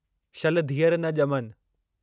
शल धीअरि न ॼमनि